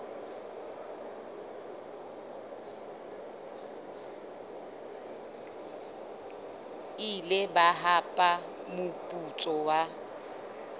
ile ba hapa moputso wa